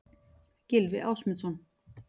Gylfi Ásmundsson.